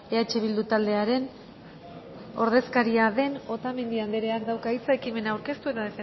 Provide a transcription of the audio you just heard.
eh bildu taldearen ordezkaria den otamendi andreak dauka hitza ekimena aurkeztu eta